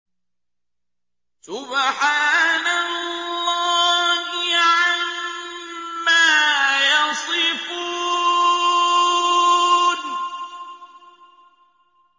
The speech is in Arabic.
سُبْحَانَ اللَّهِ عَمَّا يَصِفُونَ